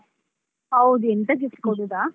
ಹೌದು, ಎಂತ gift ಕೊಡುದಾ?